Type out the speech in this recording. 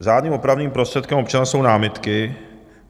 Řádným opravným prostředkem občana jsou námitky.